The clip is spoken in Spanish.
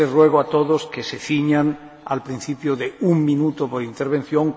Sí les ruego a todos que se ciñan al principio de un minuto por intervención.